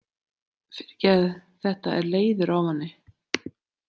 Fyrirgefðu, þetta er leiður ávani.